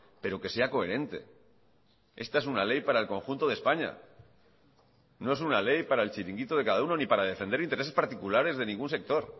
pero que sea coherente esta es una ley para el conjunto de españa no es una ley para el chiringuito de cada uno ni para defender intereses particulares de ningún sector